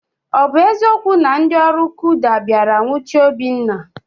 Ọ bụ eziokwu na ndị ọrụ kuda bịara nwuchie Obinna?